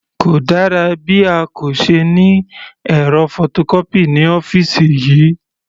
Kò dára bí a kò se ní ẹ̀rọ photocopy ní ọ́fìsì yìí.